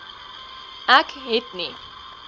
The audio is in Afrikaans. ek het nie